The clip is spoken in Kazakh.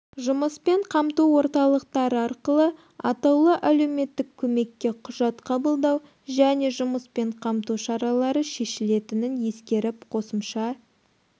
жұмыспен қамту орталықтары арқылы атаулы әлеуметтік көмекке құжат қабылдау және жұмыспен қамту шаралары шешілетінін ескеріп қосымша